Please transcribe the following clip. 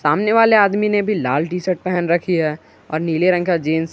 सामने वाले आदमी ने भी लाल टी शर्ट पहन रखी है और नीले रंग का जींस --